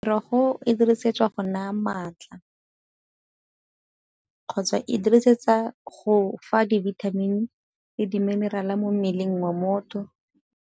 Merogo e dirisetswa go nna maatla, kgotsa e dirisetsa go fa dibithamini le di-mineral mo mmeleng wa motho.